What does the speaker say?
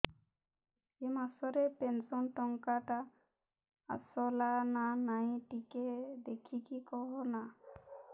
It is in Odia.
ଏ ମାସ ରେ ପେନସନ ଟଙ୍କା ଟା ଆସଲା ନା ନାଇଁ ଟିକେ ଦେଖିକି କହନା